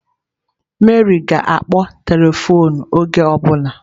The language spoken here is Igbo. Mary ga-akpọ telifon oge ọ bụla.